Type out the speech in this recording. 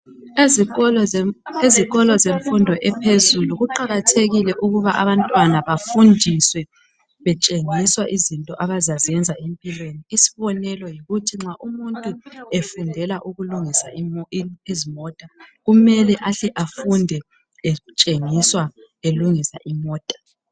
Ezikolo zemfundo ephezulu kuqakathekile ukuba abantwana bafundiswe betshengiswa izinto abazazenza empilweni. Isibonelo yikuthi nxa umuntu efundela ukulungisa izimota kumele ahle afunde etshengiswa elungisa imota